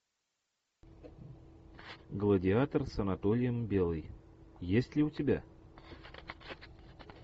гладиатор с анатолием белый есть ли у тебя